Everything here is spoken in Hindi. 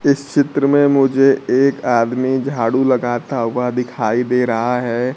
इस चित्र में मुझे एक आदमी झाड़ू लगाता हुआ दिखाई दे रहा है।